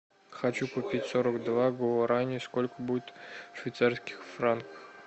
хочу купить сорок два гуарани сколько будет в швейцарских франках